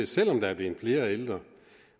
selv om der er blevet flere ældre